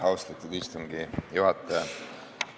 Austatud istungi juhataja!